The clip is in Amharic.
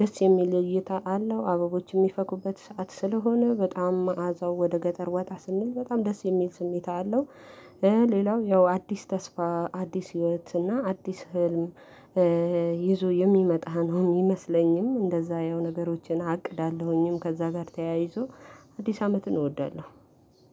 ደስ የሚል እይታ አለው። አበቦች የሚፈኩበት ሰዓት ስለሆነ በጣም መዓዛው ወደ ገጠር ወጣ ስንል በጣም ደስ የሚል ስሜት አለው። ሌላው ያው አዲስ ተስፋ አዲስ ህይወት እና አዲስ ህልም። ይዞ የሚመጣ ነው የሚመስለኝም እንደዛ ያው ነገሮችን አቅዳለሁኝም ከዛ ጋር ተያይዞ አዲስ አመትን እወዳለሁ።